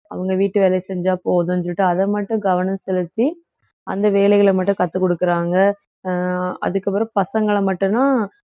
அவங்க வீட்டு வேலை செஞ்சா போதும்னு சொல்லிட்டு அதை மட்டும் கவனம் செலுத்தி அந்த வேலைகளை மட்டும் கத்துக்குடுக்கறாங்க அஹ் அதுக்கப்புறம் பசங்களை மட்டும்தான்